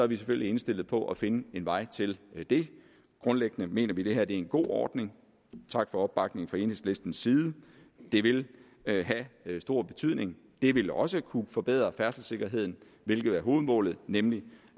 vi selvfølgelig indstillet på at finde en vej til det grundlæggende mener vi at det her er en god ordning tak for opbakningen fra enhedslistens side det vil have stor betydning det vil også kunne forbedre færdselssikkerheden hvilket er hovedmålet nemlig